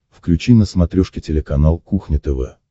включи на смотрешке телеканал кухня тв